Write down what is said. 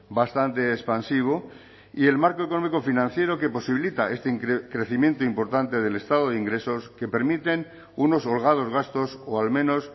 bastante expansivo y el marco económico financiero que posibilita este crecimiento importante del estado de ingresos que permiten unos holgados gastos o al menos